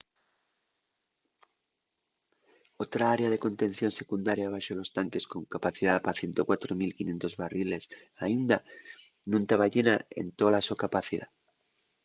otra área de contención secundaria baxo los tanques con capacidá pa 104.500 barriles aínda nun taba llena en tola so capacidá